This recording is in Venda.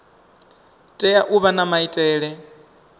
tea u vha na maitele